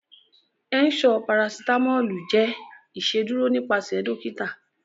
Ẹ̀nṣọ parasitamọlù jẹ́ ìṣédurò nípasẹ̀ dọ̀kìtà